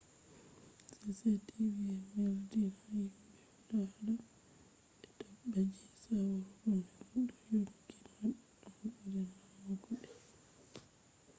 cctv neldinan himɓe hudata be dabbaji saurugo manga do yonki maɓɓe on ɓuri damugo ɓe